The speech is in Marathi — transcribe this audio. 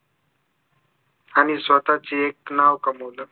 आणि स्वतःचे एक नाव कमवलं